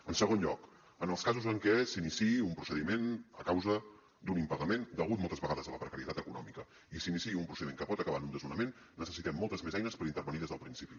en segon lloc en els casos en què s’iniciï un procediment a causa d’un impagament degut moltes vegades a la precarietat econòmica i s’iniciï un procediment que pot acabar en un desnonament necessitem moltes més eines per intervenir des del principi